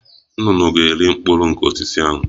Nnụnụ ga- eri mkpụrụ nke osisi ahụ